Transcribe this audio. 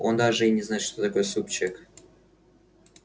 он даже и не знает что такое супчик